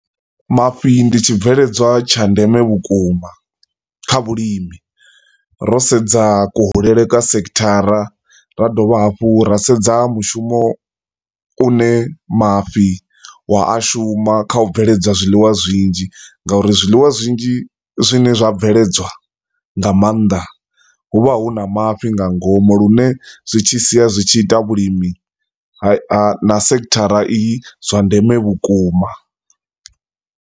Mafhi ndi tshibveledzwa tsha ndeme vhukuma kha vhulimi, ro sedza kuhulele kwa sekhithara, ra dovha hafhu ra sedza mushumo une mafhi wa a shuma kha u bveledza zwiḽiwa zwinzhi ngauri zwiḽiwa zwinzhi zwine zwa bveledzwa nga maanḓa hu vha hu na mafhi nga ngomu, lune zwi tshi siya zwi tshi ita vhulimi na sekhithara eyi zwa ndeme vhukuma.